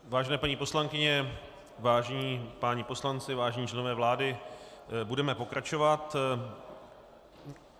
Vážené paní poslankyně, vážení páni poslanci, vážení členové vlády, budeme pokračovat.